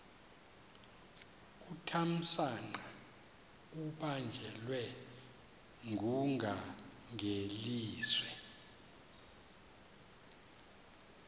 uthamsanqa ubanjelwe ngungangelizwe